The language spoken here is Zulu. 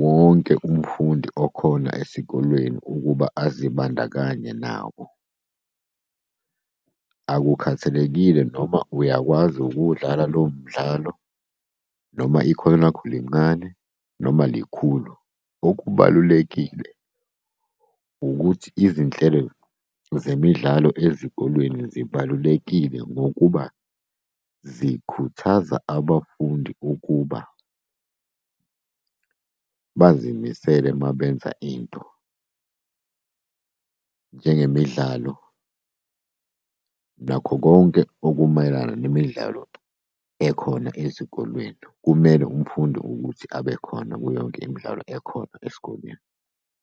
wonke umfundi okhona esikolweni ukuba azibandakanye nawo. Akukhathalekile noma uyakwazi ukuwudlala lowo mdlalo noma ikhono lakho lincane noma likhulu. Okubalulekile ukuthi izinhlelo zemidlalo ezikolweni zibalulekile ngokuba zikhuthaza abafundi ukuba bazimisele uma benza into. Njengemidlalo nakho konke okumayelana nemidlalo ekhona ezikolweni. Kumele umfundi ukuthi abe khona kuyo yonke imidlalo ekhona esikolweni.